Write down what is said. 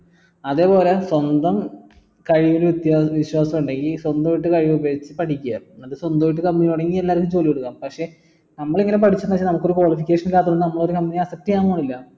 അതേപോലെ സ്വന്തം കഴിവില് വിശ്വാസം ഇണ്ടെങ്കിൽ സ്വന്തം ആയിട്ട് കഴിവ് ഉപയോഗിച്ച് പഠിക്ക എന്നിട്ട് സ്വന്തമായിട്ട് company തുടങ്ങി എല്ലാവർക്കും ജോലി കൊടുക്ക പക്ഷേ നമ്മൾ ഇങ്ങനെ പഠിച്ച് പക്ഷെ നമുക്ക് ഒരു qualification ഇല്ലാത്തോണ്ട് നമ്മൾ ഒരു company accept ചെയ്യാൻ പോണില്ല